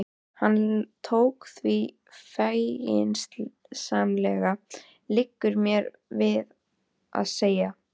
Hann tók því feginsamlega, liggur mér við að segja.